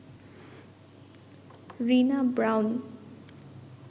Rina brown